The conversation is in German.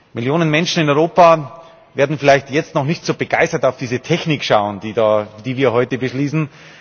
Millionen Menschen in Europa werden vielleicht jetzt noch nicht so begeistert auf diese Technik schauen, die wir heute beschließen.